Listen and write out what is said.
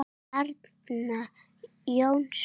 Arnar Jónsson